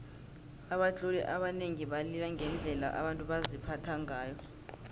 abatloli abanengi balila ngendlela abantu baziphatha ngayo